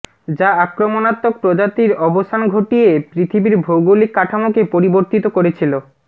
যা আক্রমণাত্মক প্রজাতির অবসান ঘটিয়ে পৃথিবীর ভৌগলিক কাঠামোকে পরিবর্তিত করেছিল